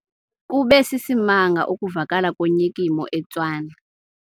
Kube sisimanga ukuvakala konyikimo eTshwane.